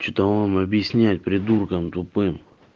что там вам объяснять придуркам тупым